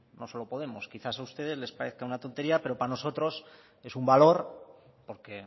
no solo podemos quizás a ustedes les parezca una tontería pero para nosotros es un valor porque